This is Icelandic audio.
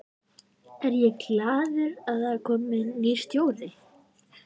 Er ég glaður að það er kominn nýr stjóri?